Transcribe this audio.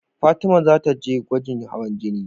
Fatima ta zata je gwajin hawan jini